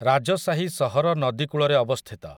ରାଜସାହି ସହର ନଦୀ କୂଳରେ ଅବସ୍ଥିତ ।